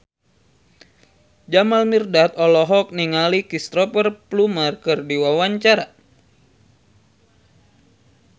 Jamal Mirdad olohok ningali Cristhoper Plumer keur diwawancara